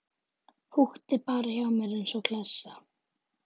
Húkti bara hjá mér eins og klessa.